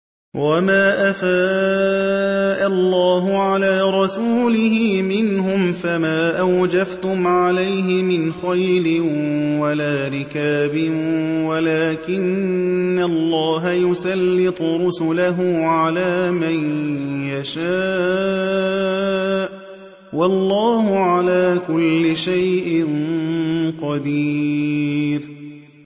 وَمَا أَفَاءَ اللَّهُ عَلَىٰ رَسُولِهِ مِنْهُمْ فَمَا أَوْجَفْتُمْ عَلَيْهِ مِنْ خَيْلٍ وَلَا رِكَابٍ وَلَٰكِنَّ اللَّهَ يُسَلِّطُ رُسُلَهُ عَلَىٰ مَن يَشَاءُ ۚ وَاللَّهُ عَلَىٰ كُلِّ شَيْءٍ قَدِيرٌ